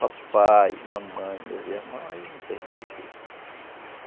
Papai, mamãe, meus irmãos, aí não tem mais jeito.